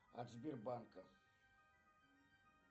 от сбербанка